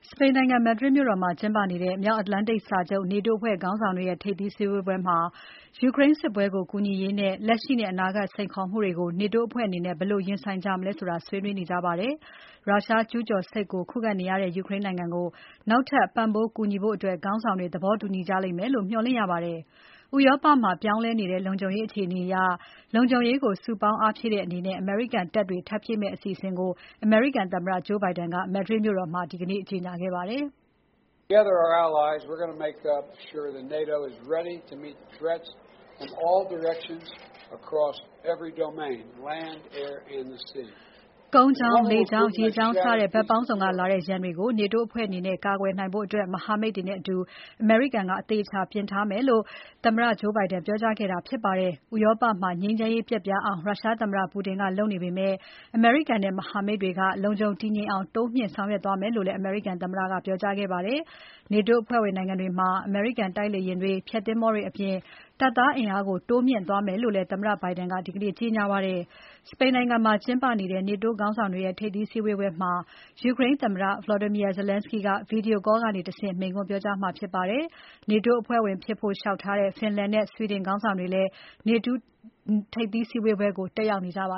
စပိန်နိုင်ငံ Madrid မြို့တော်မှာကျင်းပနေတဲ့ မြောက်အတ္တလန်တိတ်စာချုပ် NATO အဖွဲ့ခေါင်းဆောင်တွေရဲ့ ထိပ်သီးဆွေးနွေးပွဲမှာ ယူကရိန်းစစ်ပွဲကို ကူညီရေးနဲ့ လက်ရှိနဲ့အနာဂါတ် စိန်ခေါ်မှုတွေကို NATO အဖွဲ့အနေနဲ့ ဘယ်လိုရင်ဆိုင်ကြမလဲဆိုတာ ဆွေးနွေးကြမှာဖြစ်ပါတယ်။ ရုရှားကျူးကျော်စစ်ကို ခုခံနေရတဲ့ ယူကရိန်းနိုင်ငံကို နောက်ထပ် ပံ့ပိုးကူညီဖို့ ခေါင်းဆောင်တွေ သဘောတူကြလိမ့်မယ့်လို့ မျှော်လင့်ရပါတယ်။ ဥရောပမှာ ပြောင်းလဲနေတဲ့ လုံခြုံရေးအခြေအနေအရ လုံခြုံရေးကို စုပေါင်းအားဖြည့်တဲ့အနေနဲ့ အမေရိကန်တပ်တွေထပ်ဖြည့်မယ်အစီအစဉ်ကို အမေရိကန်သမ္မတ Joe Biden က Madrid မြို့တော်မှာ ဒီနေ့ ကြေညာခဲ့ပါတယ်။ “ကုန်းကြောင်း၊ လေကြောင်း၊ ရေကြောင်းစတဲ့ ဘက်ပေါင်းစုံကလာတဲ့ ရန်တွေကို NATO အဖွဲ့အနေနဲ့ ကာကွယ်နိုင်ဖို့ မဟာမိတ်တွေနဲ့အတူ အမေရိကန်က အသေအချာ အသင့်ပြင်ထားမယ်” လို့ သမ္မတ Joe Biden က ပြောကြားခဲ့တာဖြစ်ပါတယ်။ ဥရောပမှာ ငြိမ်းချမ်းရေးပျက်ပြားအောင် ရုရှားသမ္မတ Putin ကလုပ်နေပေမယ့် အမေရိကန်နဲ့ မဟာမိတ်တွေက လုံခြုံတည်ငြိမ်အောင် တိုးမြှင့်ဆောင်ရွက်သွားမယ်လို့လည်း အမေရိကန်သမ္မတက ပြောကြားခဲ့ပါတယ်။ NATO အဖွဲ့ဝင်နိုင်ငံတွေမှာ အမေရိကန် တိုက်လေယဉ်တွေ၊ ဖျက်သင်္ဘောတွေအပြင် တပ်သားအင်အားကို တိုးမြှင့်သွားမယ်လို့လည်း သမ္မတ Biden ကကြေညာခဲ့ပါတယ်။ စပိန်နိုင်ငံမှာကျင်းပနေတဲ့ NATO ခေါင်းဆောင်တွေရဲ့ ထိပ်သီးစည်းဝေးပွဲမှာ ယူကရိန်းသမ္မတ Volodymyr Zelenskyy က Video call ကတဆင့် မိန့်ခွန်းပြောကြားမှာဖြစ်ပါတယ်။ NATO အဖွဲ့ဝင်ဖြစ်ဖို့ လျှောက်ထားတဲ့ Finland နဲ့ Sweden ခေါင်းဆောင်တွေလည်း NATO ထိပ်သီးစည်းဝေးပွဲကို တက်ရောက်နေကြပါ